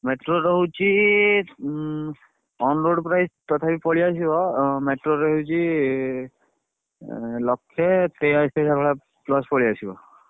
Metro ର ହଉଛି um onroad price ତଥାପି ପଳେଇଆସିବ ଉଁ metro ର ହଉଛି ଇ ଉଁ ଲକ୍ଷେ ତେୟାଅଶି ଭଳିଆ plus ପଳେଇଆସିବ।